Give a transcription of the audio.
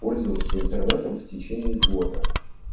пользоваться интернетом в течение года